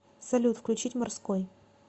салют включить морской